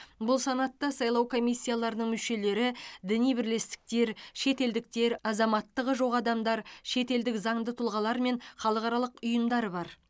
бұл санатта сайлау комиссияларының мүшелері діни бірлестіктер шетелдіктер азаматтығы жоқ адамдар шетелдік заңды тұлғалар мен халықаралық ұйымдар бар